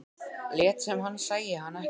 Lét sem hann sæi hana ekki.